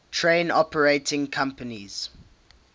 train operating companies